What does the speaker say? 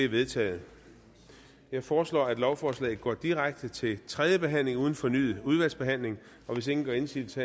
vedtaget jeg foreslår at lovforslaget går direkte til tredje behandling uden fornyet udvalgsbehandling hvis ingen gør indsigelse